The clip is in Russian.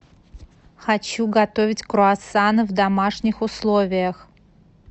хочу готовить круассаны в домашних условиях